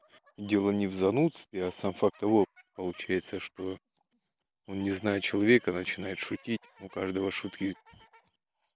дело не в занудстве а сам факт получается что он не знает человека начинает шутить у каждого шутки